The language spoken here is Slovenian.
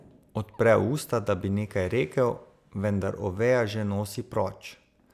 Odpre usta, da bi nekaj rekel, vendar Oveja že nosi proč.